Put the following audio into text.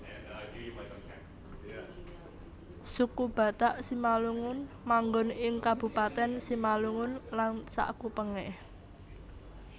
Suku Batak Simalungun manggon ing Kabupatèn Simalungun lan sakupengé